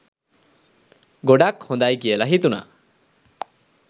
ගොඩක් හොදයි කියල හිතුනා